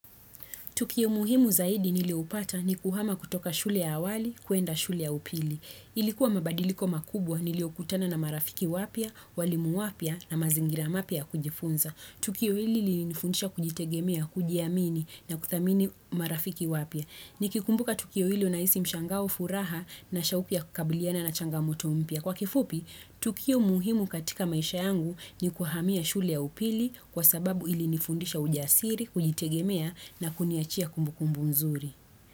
Tukio muhimu zaidi nilioupata ni kuhama kutoka shule ya awali, kuenda shule ya upili. Ilikuwa mabadiliko makubwa nilio kutana na marafiki wapia, walimu wapia na mazingira mapia kujifunza. Tukio hili lilinifundisha kujitegemea, kujiamini na kuthamini marafiki wapia. Nikikumbuka tukio hili unaisi mshangao furaha na shauku ya kukabiliana na changamoto mpia. Kwa kifupi, tukio muhimu katika maisha yangu ni kuhamia shule ya upili kwa sababu ili nifundisha ujasiri, kujitegemea na kuniachia kumbukumbu mzuri.